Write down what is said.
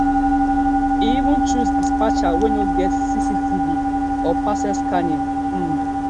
e even choose dispatcher wey no get cctv or parcel scanning um